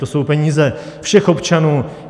To jsou peníze všech občanů.